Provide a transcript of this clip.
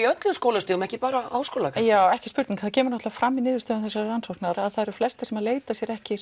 öllum skólastigum ekki bara Háskóla já ekki spurning það kemur náttúrulega fram í niðurstöðum þessarar rannsóknar að það eru flestir sem leita sér ekki